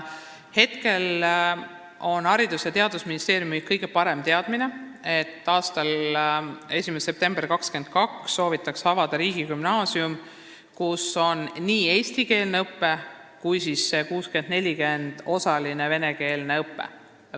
Hetkel on Haridus- ja Teadusministeeriumi kõige parem teadmine selle kohta see, et 1. septembril 2022 soovitakse avada riigigümnaasium, kus toimub nii eestikeelne õpe kui ka osaline venekeelne õpe.